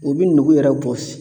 U b'i nugu yɛrɛ bɔ